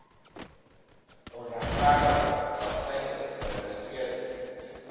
onregverdige praktyke geregistreede